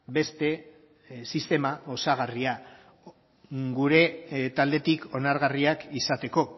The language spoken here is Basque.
beste sistema osagarria gure taldetik onargarriak izateko